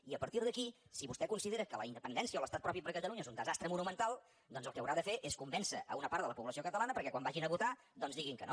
i a partir d’aquí si vostè considera que la independència o l’estat propi per a catalunya és un desastre monumental doncs el que haurà de fer és convèncer una part de la població catalana perquè quan vagin a votar doncs diguin que no